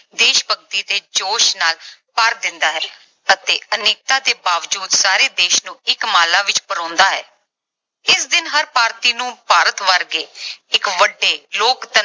ਦੇਸ਼ ਭਗਤੀ ਦੇ ਜੋਸ਼ ਨਾਲ ਭਰ ਦਿੰਦਾ ਹੈ ਅਤੇ ਅਨੇਕਤਾ ਦੇ ਬਾਵਜੂਦ ਸਾਰੇ ਦੇਸ਼ ਨੂੰ ਇੱਕ ਮਾਲਾ ਵਿਚ ਪਰੋਂਦਾ ਹੈ। ਇਸ ਦਿਨ ਹਰ ਭਾਰਤੀ ਨੂੰ ਭਾਰਤ ਵਰਗੇ ਇੱਕ ਵੱਡੇ ਲੋਕਤੰਤਰ